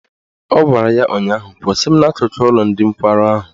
Ọ gwara ya ụnyaahụ " Kwụsị m n'akụkụ ụlọ ndị nkwarụ ahụ!